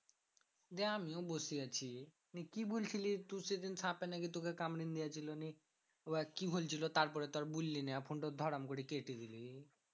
দিয়ে আমিও বসে আছি নিয়ে কি বলছিলিস তু সেদিন সাঁপে নাকি তোকে কামড়ে দিয়েছে নিয়ে এবার কি হচ্ছিলো তারপরে তো আর বললি না ফোনটাও ধরাম করে কেটে দিলি।